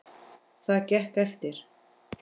Það gekk eftir.